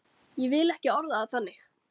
Ég vil ekki orða það þannig.